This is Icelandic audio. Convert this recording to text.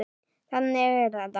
Þannig er þetta.